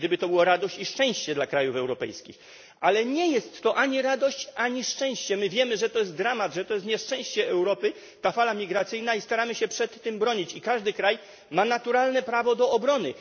Gdyby to była radość i szczęście dla krajów europejskich, ale nie jest to ani radość, ani szczęście. My wiemy, że to jest dramat, że ta fala migracyjna jest nieszczęściem dla Europy i staramy się przed tym bronić. Każdy kraj ma naturalne prawo do obrony.